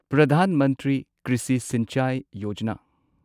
Pradhan Mantri Krishi Sinchai Yojana